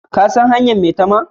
Ka sa hanyar maitama?